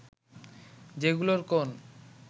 যেগুলোর কোন